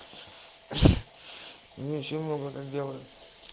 у меня много сделаем